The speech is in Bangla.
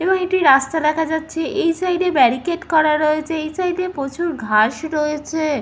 এবং একটি রাস্তা দেখা যাচ্ছে। এই সাইড এ ব্যারিকেড করা রয়েছে। এই সাইড - এ প্রচুর ঘাস রয়েছে।